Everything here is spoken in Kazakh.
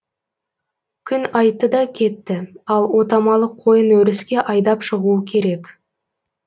күн айтты да кетті ал отамалы қойын өріске айдап шығуы керек